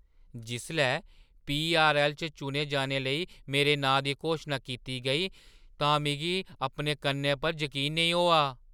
जिसलै पीआरऐल्ल च चुने जाने लेई मेरे नांऽ दी घोशना कीती गेई तां मिगी अपने कन्नें पर जकीन नेईं होआ!